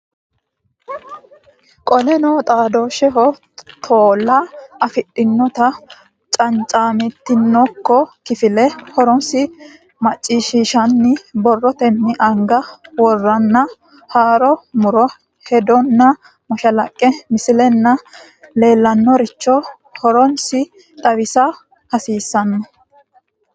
Qoleno xaadooshsheho tola afidhinota cancamantinokko kifile horonsi ra macciishshinanni borrotenni anga woranna haaro mu ri hedonna mashalaqqe misilenna leellannoricho horonsi ne xawisa hasiissanno.